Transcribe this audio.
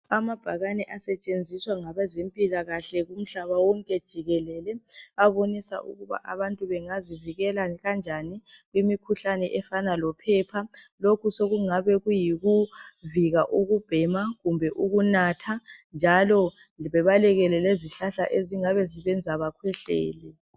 Amabhakane asetshenziswa ngabezempilakahle kumhlaba wonke jikelele, abonisa ukuba abantu bengazivikela kanjani kumikhuhlane efana lophepha lokhu sokungabe kuyikuvika ukubhema kumbe ukunatha njalo bebalekele lezihlahla ezingabezibenza bakhwehlele.